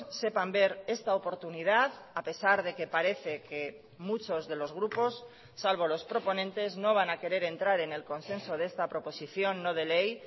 sepan ver esta oportunidad a pesar de que parece que muchos de los grupos salvo los proponentes no van a querer entrar en el consenso de esta proposición no de ley